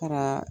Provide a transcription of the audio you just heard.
Fara